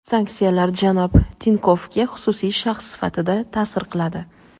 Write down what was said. Sanksiyalar janob Tinkovga xususiy shaxs sifatida ta’sir qiladi.